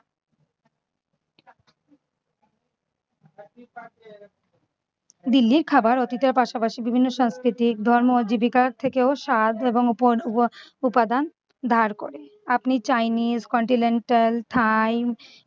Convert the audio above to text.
দিল্লির খাবার অতীতের পাশাপাশি বিভিন্ন সংস্কৃতিক ধর্ম জীবিকার থেকেও স্বাদ এবং উপ~ উপাদান ধার করে আপনি chinese continental thai